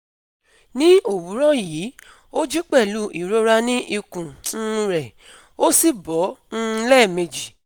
Ní òwúrọ̀ yìí, ó jí pẹ̀lú ìrora ni ikùn um rẹ, ó sì bọ́ um lẹ́ẹ̀meji